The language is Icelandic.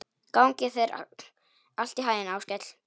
Gangi þér allt í haginn, Áskell.